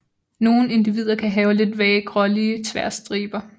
Nogle individer kan have lidt vage grålige tværstriber